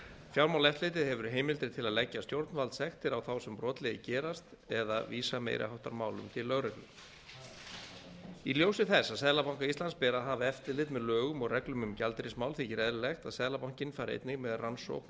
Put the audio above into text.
fjármálaeftirlitið hefur heimildir til að leggja stjórnvaldssektir á þá sem brotlegir gerast eða vísa meiri háttar málum til lögreglu í ljósi þess að seðlabanka íslands ber að hafa eftirlit með lögum og reglum um gjaldeyrismál þykir eðlilegt að seðlabankinn fari einnig með rannsókn og